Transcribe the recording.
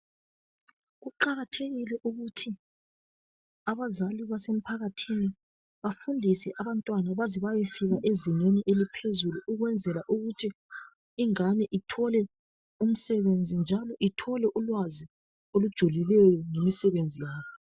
Kuqakathekile ukuthi abazali basemphakathini bafundise abantwana baze bayefike ezingeni eliphezulu ukwenzela ukuthi ingane ithole umsebenzi njalo ithole ulwazi olujulileyo ngemisebenzi yalo.